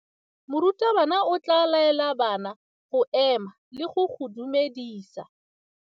Morutabana o tla laela bana go ema le go go dumedisa.